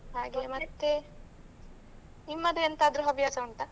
ಹಾಗೆ ಮತ್ತೆ ನಿಮ್ಮದು ಎಂತಾದ್ರೂ ಹವ್ಯಾಸ ಉಂಟಾ?